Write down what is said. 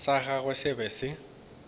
sa gagwe se be se